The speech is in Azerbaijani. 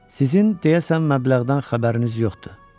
Sizin deyəsən məbləğdən xəbəriniz yoxdur.